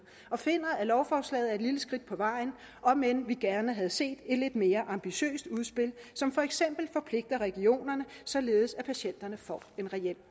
og finder at lovforslaget er et lille skridt på vejen omend vi gerne havde set et lidt mere ambitiøst udspil som for eksempel forpligter regionerne således at patienterne får en reel